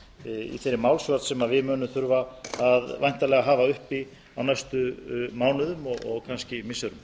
í þeirri málsvörn sem við munum væntanlega þurfa að hafa uppi á næstu mánuðum og kannski missirum